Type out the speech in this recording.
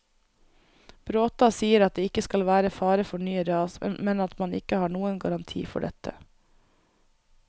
Bråta sier at det ikke skal være fare for nye ras, men at man ikke har noen garanti for dette.